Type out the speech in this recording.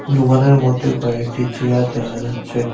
দোকানের মধ্যে কয়েকটি চেয়ার দেখা যাচ্ছে।